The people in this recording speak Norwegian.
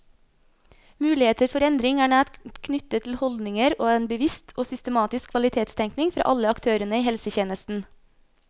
Muligheter for endring er nært knyttet til holdninger og en bevisst og systematisk kvalitetstenkning fra alle aktørene i helsetjenesten.